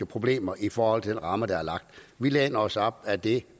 problemer i forhold til den ramme der er lagt vi læner os op ad det